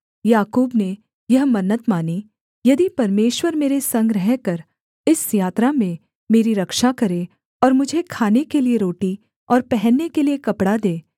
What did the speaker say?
याकूब ने यह मन्नत मानी यदि परमेश्वर मेरे संग रहकर इस यात्रा में मेरी रक्षा करे और मुझे खाने के लिये रोटी और पहनने के लिये कपड़ा दे